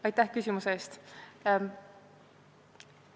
Aitäh küsimuse eest!